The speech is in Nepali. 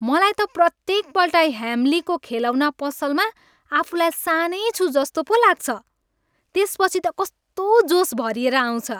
मलाई त प्रत्येकपल्ट ह्याम्लीको खेलौना पसलमा आफूलाई सानै छु जस्तो पो लाग्छ! त्यसपछि त कस्तो जोस भरिएर आउँछ।